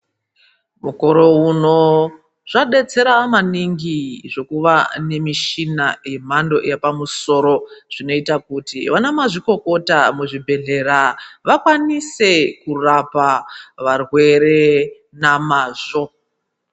Mukore uno zvodetsera maningi zvekuva nemishina yemhando yepamusoro zvinoita kuti vana mazvikokota muzvibhedhlera vakwanise kurapa varwere namazvo.